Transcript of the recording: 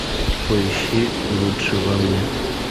поищи лучшее во мне